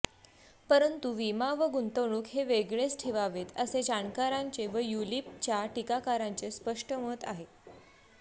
परंतु विमा व गुंतवणूक हे वेगळेच ठेवावेत असे जाणकारांचे व युलिपच्या टीकाकारांचे स्पष्ट मत आहे